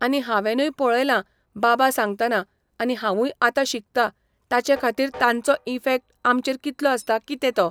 आनी हांवेंनूय पळयलां बाबा सांगतना आनी हांवूय आतां शिकतां ताचे खातीर तांचो इफेक्ट आमचेर कितलो आसता कितें तो.